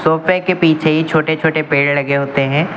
सोफे के पीछे ही छोटे छोटे पेड़ लगे होते हैं।